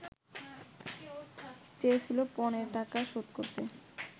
চেয়েছিল পণের টাকা শোধ করতে